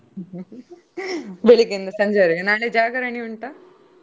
ಬೆಳಿಗ್ಗೆಯಿಂದ ಸಂಜೆವರೆಗೆ, ನಾಳೆ ಜಾಗರಣೆ ಉಂಟಾ?